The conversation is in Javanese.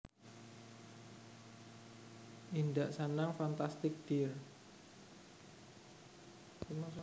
Indak Sanang Fantastic dear